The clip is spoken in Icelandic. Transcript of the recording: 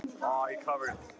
Þórkell sagði